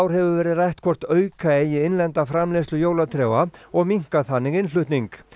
hefur verið rætt hvort auka eigi innlenda framleiðslu jólatrjáa og minnka þannig innflutning